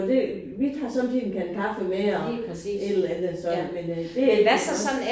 Og det vi har sommetider en kande kaffe med og et eller andet sådan men øh det ellers nok